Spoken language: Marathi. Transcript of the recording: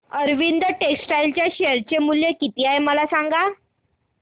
अरविंद टेक्स्टाइल चे शेअर मूल्य किती आहे मला सांगा